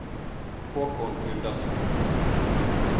Håkon Gundersen